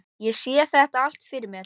Ég sé þetta allt fyrir mér.